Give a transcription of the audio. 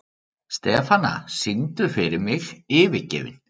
Stefana, syngdu fyrir mig „Yfirgefinn“.